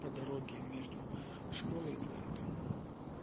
по дороге между школой и твоим домом